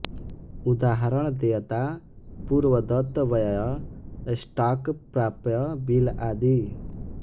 उदाहरण देयता पूर्वदत्त व्यय स्टॉक प्राप्य बिल आदि